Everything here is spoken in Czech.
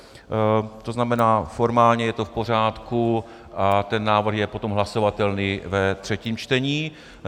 To znamená, formálně je to v pořádku a ten návrh je potom hlasovatelný ve třetím čtení.